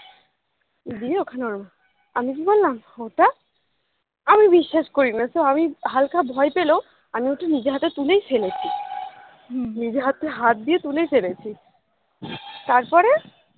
দিয়ে ওখানে আমি কি করলাম ওটা আমি বিশ্বাস করিনা তো আমি হালকা ভয় পেলেও আমি ওটা নিজের হাতে তুলেই ফেলেছি নিজের হাতে হাত দিয়ে তুলে ফেলেছি তারপরে